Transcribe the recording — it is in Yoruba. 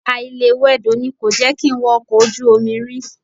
Àìlewẹdò ni kò jẹ́ kí n wọ ọkọ̀ ojú omi rí